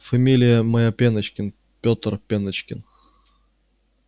фамилия моя пеночкин пётр пеночкин